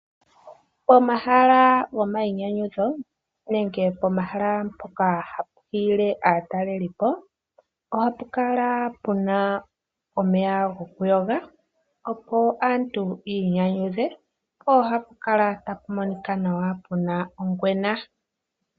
Pomahala gomayinyanyudho nenge pomahala mpono hapu hiile aatalelipo, ohapu kala pu na omeya, opo aantu yi inyanyudhe. Ohapu kala tapu monika nawa pu na ongwena.